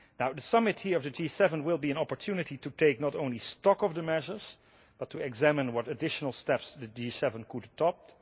The summit here of the G7 will be an opportunity to take not only stock of the measures but to examine what additional steps the G7 could adopt.